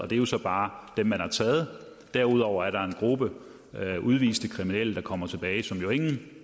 det er jo så bare dem man har taget derudover er der en gruppe udviste kriminelle der kommer tilbage men som ingen jo